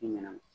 I ɲɛna